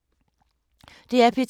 DR P2